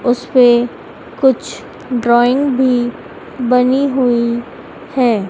उसपे कुछ ड्राइंग भी बनी हुई है।